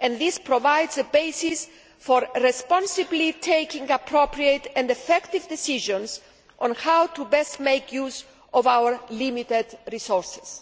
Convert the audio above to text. and this provides the basis for responsibly taking appropriate and effective decisions on how to best make use of our limited resources.